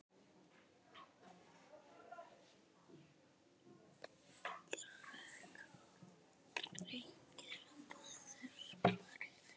Greikka bræður sporið.